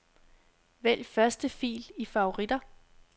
Vælg første fil i favoritter.